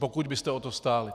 Pokud byste o to stáli.